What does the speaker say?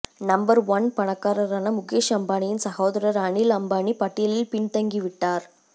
number one பணக்காரரான முகேஷ் அம்பானியின் சகோதரர் அனில் அம்பானி பட்டியலில் பின்தங்கி விட்டார்